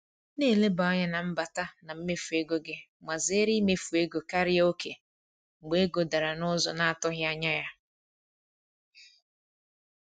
Na-eleba anya n’mbata na mmefu ego gị ma zere imefu ego karịa oke mgbe ego dara n’ụzọ na-atụghị anya ya.